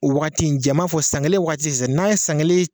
O waati in ja n b'a fɔ sisan , san kelen waati sisan, n'a ye san kelen